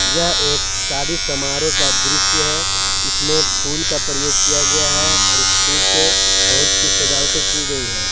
यह एक शादी समारोह का दृश्य है इसमें फूल का प्रयोग किया गया है और उस फूल से बहुत सी सजावटें की गई है।